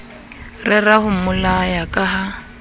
rera ho mmolaya ka ha